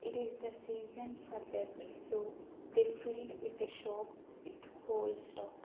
it is the season for that so they field with the shop with whole stock.